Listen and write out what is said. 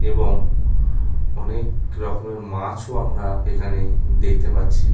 এবং অনেক রকমের মাছ ও আমরা এখানে দেখতে পারছি।